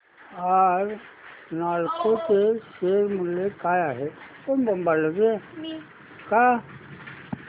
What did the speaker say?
आज नालको चे शेअर मूल्य काय आहे